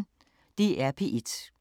DR P1